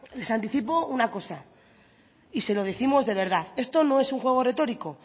les anticipo una cosa y se lo décimos de verdad esto no es un juego retorico